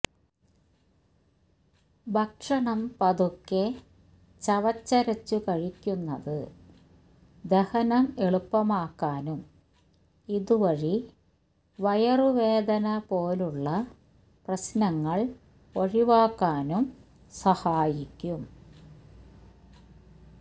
ഭക്ഷണം പതുക്കെ ചവച്ചരച്ചു കഴിയ്ക്കുന്നത് ദഹനം എളുപ്പമാക്കാനും ഇതുവഴി വയറുവേദന പോലുള്ള പ്രശ്നങ്ങള് ഒഴിവാക്കാനും സഹായിക്കും